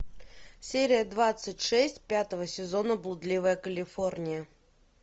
серия двадцать шесть пятого сезона блудливая калифорния